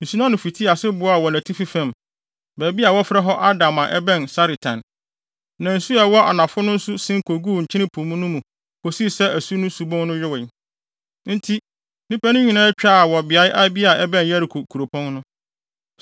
nsu no ano fitii ase boaa wɔ nʼatifi fam, baabi a wɔfrɛ hɔ Adam a ɛbɛn Saretan. Na nsu a ɛwɔ anafo no nso sen koguu Nkyene Po no mu kosii sɛ asu no subon no yowee. Enti, nnipa no nyinaa twaa wɔ beae bi a ɛbɛn Yeriko kuropɔn no.